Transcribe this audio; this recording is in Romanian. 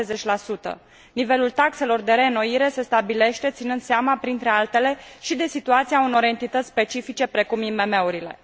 70. Nivelul taxelor de reînnoire se stabilește ținând seama, printre altele, și de situația unor entități specifice, precum IMM urile.